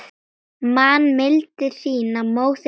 Man mildi þína, móðirin hlýja.